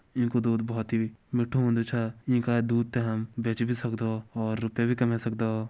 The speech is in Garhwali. येकु दूध बहोत ही मिठु होन्दु छ येका दूध त हम बेच भी सकदा और रुपया भी कमय सकदा।